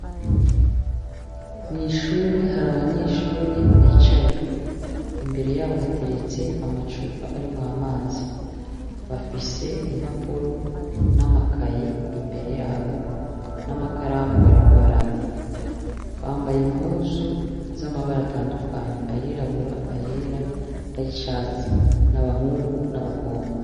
Mw'ishure hari abanyeshure bicaye imbere yabo hateretse amacupa ari mw amazi bafise impapuro n'amakaye imbere yabo n'amakaramu bariko barandika bambaye impuzu z'amabara atandukanyi ayiraburaa yera ari ishatsi n'abahungu n'abakobwa.